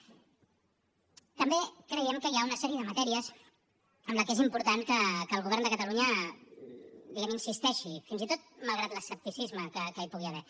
també creiem que hi ha una sèrie de matèries en què és important que el govern de catalunya diguem ne insisteixi fins i tot malgrat l’escepticisme que hi pugui haver